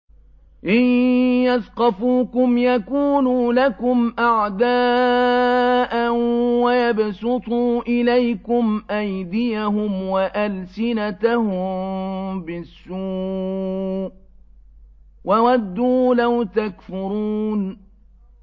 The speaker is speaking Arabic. إِن يَثْقَفُوكُمْ يَكُونُوا لَكُمْ أَعْدَاءً وَيَبْسُطُوا إِلَيْكُمْ أَيْدِيَهُمْ وَأَلْسِنَتَهُم بِالسُّوءِ وَوَدُّوا لَوْ تَكْفُرُونَ